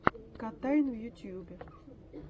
котайн в ютюбе